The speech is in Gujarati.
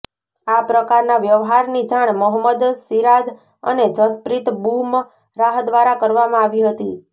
આ પ્રકારના વ્યવહારની જાણ મોહમ્મદ સિરાજ અને જસપ્રીત બુમરાહ દ્વારા કરવામાં આવી હતી